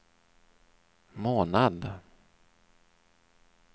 månad